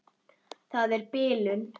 Það er bilun.